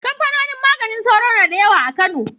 Kamfanoni maganin sauro na da yawa a Kano.